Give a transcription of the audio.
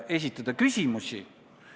Ma vastan su küsimusele.